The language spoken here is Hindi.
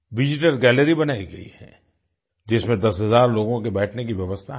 विजिटर गैलरी बनाई गई है जिसमें 10 हज़ार लोगों के बैठने की व्यवस्था है